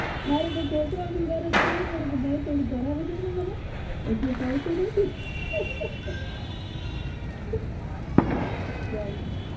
મારે તો છોકરાવની ગરજ કરવી પડે કે ભાઈ થોડું કરાવી દે ને મને એટલું ફાવતું નથી ચલો